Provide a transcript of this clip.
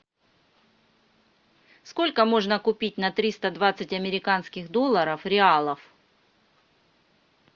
сколько можно купить на триста двадцать американских долларов реалов